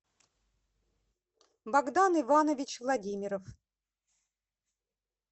богдан иванович владимиров